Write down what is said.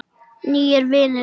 Nýir vinir